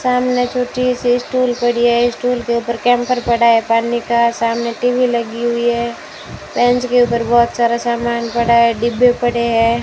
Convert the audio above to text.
सामने टूटी सी स्टूल पड़ी है स्टूल के ऊपर कैंपर पड़ा है पानी का सामने टी_वी लगी हुई है बेंच के ऊपर बहुत सारा सामान पड़ा है डिब्बे पड़े हैं।